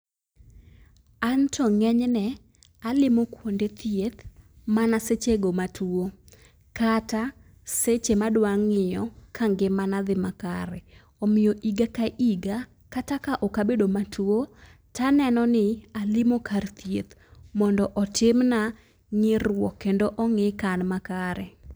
Anto ng'enyne alimo kuonde thieth mana sechego matuo, kata seche ma adwa ng'iyo ka ngimana dhi makare. omiyo higa ka higa, kata ka ok abedo matuo, taneno ni alimo kar thieth mondo otimna nyiruok kendo ong'i ka an makare.